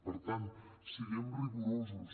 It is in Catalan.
per tant siguem rigorosos